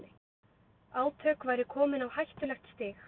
Átök væru komin á hættulegt stig